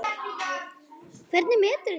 Hvernig meturðu það?